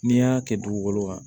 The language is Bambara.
N'i y'a kɛ dugukolo kan